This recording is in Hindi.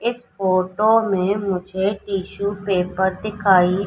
इस फोटो में मुझे टिशू पेपर दिखाई--